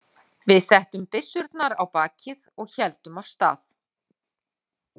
Við settum byssurnar á bakið og héldum af stað.